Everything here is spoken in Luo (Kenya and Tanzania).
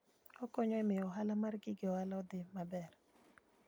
Okonyo e miyo ohala mar gige ohala odhi maber.